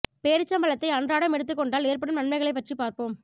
பேரிச்சம் பழத்தை அன்றாடம் எடுத்துக் கொண்டால் ஏற்படும் நன்மைகளைப் பற்றி பார்ப்போம்